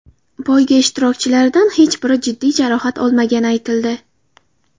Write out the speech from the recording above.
Poyga ishtirokchilaridan hech biri jiddiy jarohat olmagani aytildi.